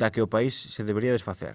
da que o país se debería desfacer